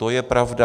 To je pravda.